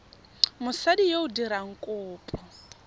mosadi yo o dirang kopo